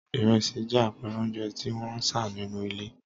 Ìrẹsì jẹ́ àpẹẹrẹ oúnjẹ tí wón ń sá sínú ilé.